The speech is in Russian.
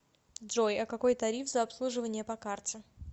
джой а какой тариф за обслуживание по карте